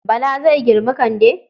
Bala zai girmi Kande.